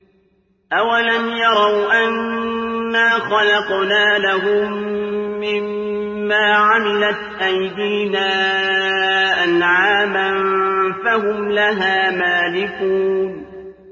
أَوَلَمْ يَرَوْا أَنَّا خَلَقْنَا لَهُم مِّمَّا عَمِلَتْ أَيْدِينَا أَنْعَامًا فَهُمْ لَهَا مَالِكُونَ